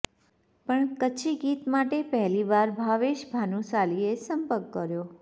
પણ કચ્છી ગીત માટે પહેલીવાર ભાવેશ ભાનુશાલીએ સંપર્ક કર્યો